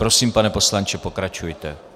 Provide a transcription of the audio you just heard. Prosím, pane poslanče, pokračujte.